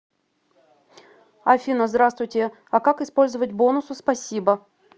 афина здравствуйте а как использовать бонусы спасибо